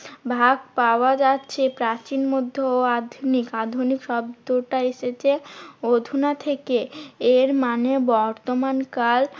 ভাগ পাওয়া যাচ্ছে প্রাচীন, মধ্য ও আধুনিক। আধুনিক শব্দটা এসেছে অধুনা থেকে। এরমানে বর্তমান কাল